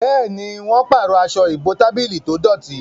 Béèni wón parọ Aṣọ ìbotábílì tó dọti.